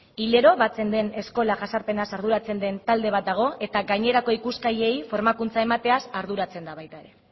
hilero batzen den eskola jazarpenaz arduratzen den talde bat dago eta gainerako ikuskariei formakuntza emateaz arduratzen da baita ere